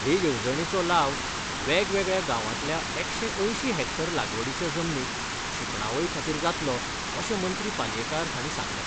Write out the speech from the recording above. हे येवजणेचो लाव वेगवेगळ्या गांवांतल्या एकशे अंयशीं हॅक्टर लागवडीच्या जमनीक शिंपणावळी खातीर जातलो अशें मंत्री पालयेंकार हांणी सांगलें.